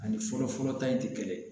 Ani fɔlɔfɔlɔ ta in ti kelen ye